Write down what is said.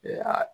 Ee a